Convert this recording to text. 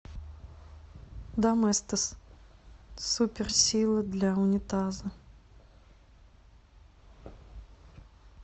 доместос супер сила для унитаза